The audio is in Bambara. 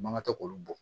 Mankan tɛ k'olu bɔ